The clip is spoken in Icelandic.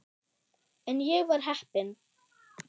En ég var heppin.